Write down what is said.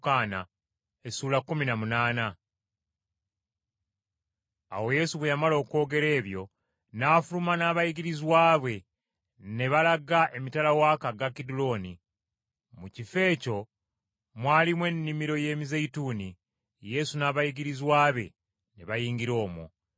Awo Yesu bwe yamala okwogera ebyo n’afuluma n’abayigirizwa be, ne balaga emitala w’akagga Kidulooni. Mu kifo ekyo mwalimu ennimiro y’emizeeyituuni, Yesu n’abayigirizwa be ne bayingira omwo.